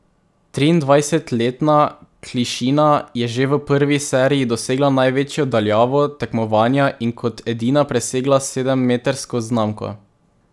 Triindvajsetletna Klišina je že v prvi seriji dosegla največjo daljavo tekmovanja in kot edina presegla sedemmetrsko znamko.